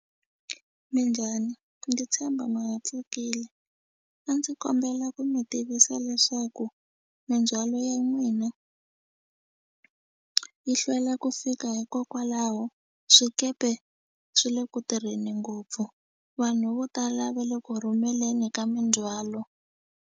Minjhani ndzi tshemba ma ha pfukile a ndzi kombela ku mi tivisa leswaku mindzhwalo ya n'wina yi hlwela ku fika hikokwalaho swikepe swi le ku tirheni ngopfu vanhu vo tala va le ku rhumeleni ka mindzhwalo.